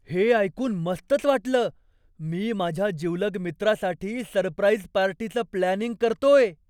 हे ऐकून मस्तच वाटलं! मी माझ्या जिवलग मित्रासाठी सरप्राईज पार्टीचं प्लॅनिंग करतोय.